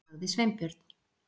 .- sagði Sveinbjörn.